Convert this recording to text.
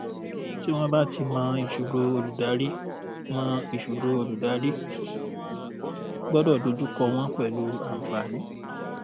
tí wọn bá ti mọ̀ ìṣòro olùdarí mọ̀ ìṣòro olùdarí gbọ́dọ̀ dojú kọ wọ́n pẹ̀lú àǹfààní.